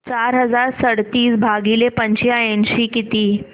चार हजार सदतीस भागिले पंच्याऐंशी किती